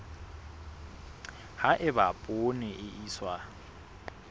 ha eba poone e iswa